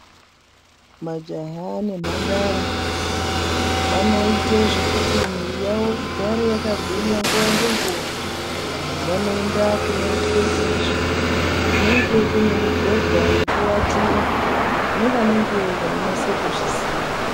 Majaha nemhandara vanoita zvekuti mwiri yawo igare yakagwinya nguwa ngenguwa. Vanoenda kunoitwe izvi, kunenge kune mibhedha yekuwatira nevanenge veinase kuzviziya.